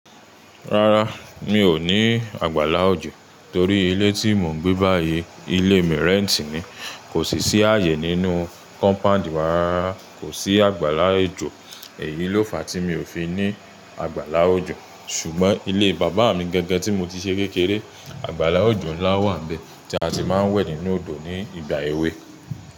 Rárá, mi ò ní àgbàlá òjò torí ilé tí mò ń gbé báyìí, ilé mi rẹ́ǹtì ni. Kò sì ṣì ààyè nínú kọ́mpáǹdì wa rara Kò sí àgbàlá òjò. Èyí ló fa tí mi ò fi ní àgbàlá òjò. Ṣùgbọ́n ilé Bàbá mi gẹ́gẹ́ tí mo ti ṣe kékeré, àgbàlá òjò ńlá wà níbẹ̀ tí a ti máa ń wẹ̀ nínú odò ní ìgbà èwe.